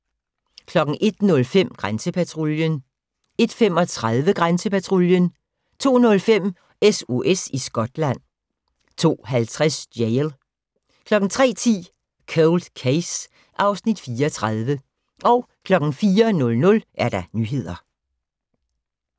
01:05: Grænsepatruljen 01:35: Grænsepatruljen 02:05: SOS i Skotland 02:50: Jail 03:10: Cold Case (Afs. 34) 04:00: Nyheder